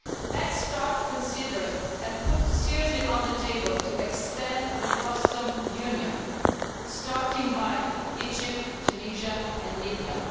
Let us start considering and putting seriously on the table the extension of the customs union, starting with Egypt, Tunisia and Libya.